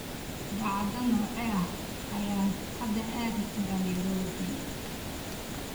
dhacdo noocee ah ayaan hadda aadi karaa nairobi